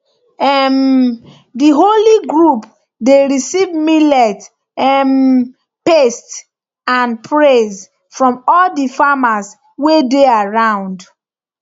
um the holy group dey receive millet um paste and praise from all the farmers wey dey around